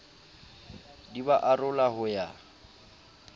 di ba arola ho ya